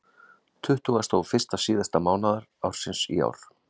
Tuttugasta og fyrsta síðasta mánaðar ársins í ár.